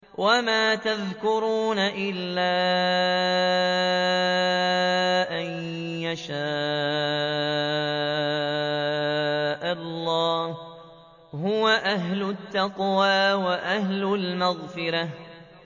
وَمَا يَذْكُرُونَ إِلَّا أَن يَشَاءَ اللَّهُ ۚ هُوَ أَهْلُ التَّقْوَىٰ وَأَهْلُ الْمَغْفِرَةِ